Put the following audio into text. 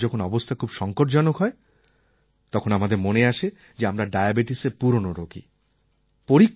আর তারপর যখন অবস্থা খুব সঙ্কটজনক হয় তখন আমাদের মনে আসে যে আমরা ডায়াবেটিসএর পুরনো রোগী